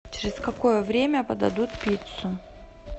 через какое время подадут пиццу